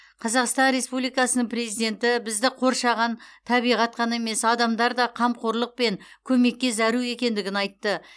қазақстан республикасының президенті бізді қоршаған табиғат қана емес адамдар да қамқорлық пен көмекке зәру екендігін айтты